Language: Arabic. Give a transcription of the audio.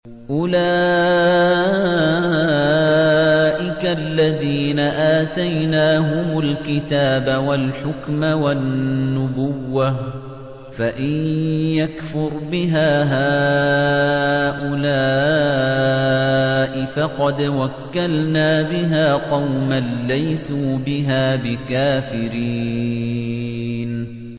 أُولَٰئِكَ الَّذِينَ آتَيْنَاهُمُ الْكِتَابَ وَالْحُكْمَ وَالنُّبُوَّةَ ۚ فَإِن يَكْفُرْ بِهَا هَٰؤُلَاءِ فَقَدْ وَكَّلْنَا بِهَا قَوْمًا لَّيْسُوا بِهَا بِكَافِرِينَ